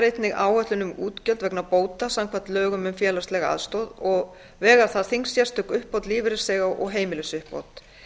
einnig áætlun um útgjöld vegna bóta samkvæmt lögum um félagslega aðstoð og vegur þar þyngst sérstök uppbót lífeyrisþega og heimilisuppbót